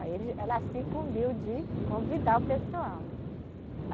Aí eles ela se incumbiu de convidar o pessoal, né?